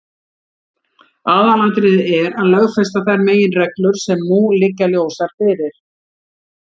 Aðalatriðið er að lögfesta þær meginreglur sem nú liggja ljósar fyrir.